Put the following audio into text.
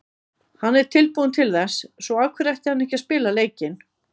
Hann er tilbúinn til þess, svo af hverju ætti hann ekki að spila leikinn?